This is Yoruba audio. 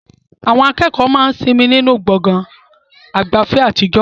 Àwọn akẹ́kọ̀ọ́ máa ń sinmi nínú gbọ̀ngàn ìgbafẹ́ àtijọ́.